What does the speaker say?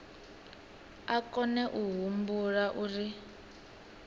a kone a humbula uri